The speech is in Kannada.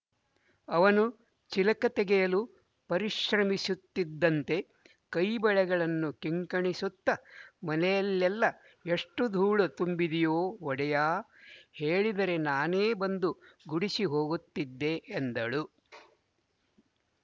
ಅವನು ಚಿಲಕ ತೆಗೆಯಲು ಪರಿಶ್ರಮಿಸುತ್ತಿದ್ದಂತೆ ಕೈ ಬಳೆಗಳನ್ನು ಕಿಂಕಿಣಿಸುತ್ತ ಮನೆಯಲ್ಲೆಲ್ಲ ಎಷ್ಟು ಧೂಳು ತುಂಬಿದೆಯೋ ಒಡೆಯಾ ಹೇಳಿದರೆ ನಾನೇ ಬಂದು ಗುಡಿಸಿ ಹೋಗುತ್ತಿದ್ದೆ ಎಂದಳು